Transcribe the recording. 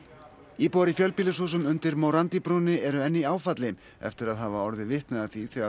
íbúar í fjölbýlishúsum undir morandi brúnni eru enn í áfalli eftir að hafa orðið vitni að því þegar